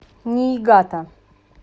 ниигата